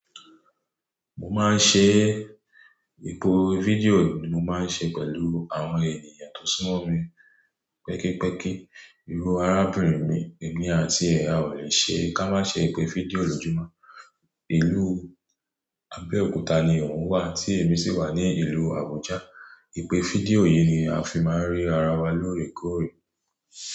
Mo máa ń ṣe. Ètò fídíò yìí ni mo máa ń ṣe pẹ̀lú àwọn ènìyàn tó súnmọ́ mi. Pẹ́kípẹ́kí, ìru arábìnrin mi, èmi àti ẹ, a ò lè ṣe ká má ṣe ìpè fídíò lójúmọ́. Ìlú Abẹ́òkúta ni òun wà tí èmi sì wà ní ìlú Àbújá. Ìpè fídíò yìí ni a fi máa ń rí ara wa lóòrèkóòrè.